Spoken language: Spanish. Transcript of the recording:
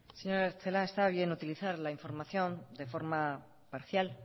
señora celaá está bien utilizar la información de forma parcial